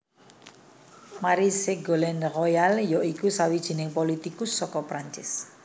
Marie Ségolène Royal ya iku sawijining politikus saka Prancis